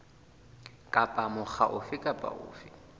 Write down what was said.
kapa mokga ofe kapa ofe